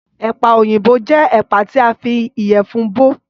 Ẹ̀pà òyìnbó jẹ́ ẹ̀pà tí a fi ìyẹ̀fun bò